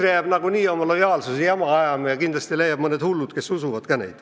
EKRE jääb niikuinii oma lojaalsuse jama ajama ja kindlasti leiab mõned hullud, kes neid usuvad.